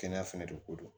Kɛnɛya fɛnɛ de ko don